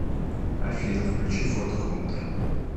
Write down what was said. афина включи фото хунтера